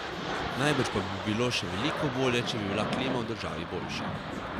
Najbrž pa bi bilo še veliko bolje, če bi bila klima v državi boljša.